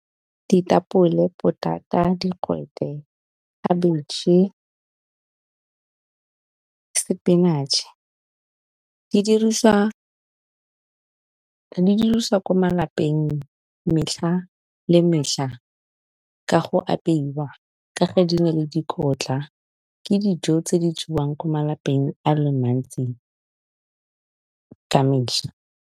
Ditapole, potata, digwete, khabitšhe, spinach di dirisiwa ko malapeng metlha le metlha ka go apeiwa ka ge di na le dikotla, ke dijo tse di jewang ko malapeng a le mantsi ka metlha.